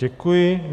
Děkuji.